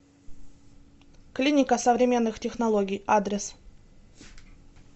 клиника современных технологий адрес